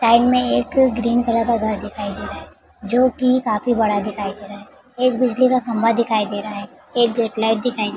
side में एक green colour का घर दिखाई दे रहा है जो की काफी बड़ा दिखाई दे रहा है एक बिजली का खम्बा दिखाई दे रहा है एक गेट लाइट दिखाई दे --